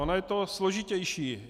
Ono je to složitější.